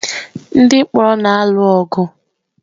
Ndị mkpọrọ na-alụ ọgụ.